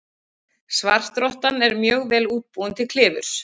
Svartrottan er mjög vel útbúin til klifurs.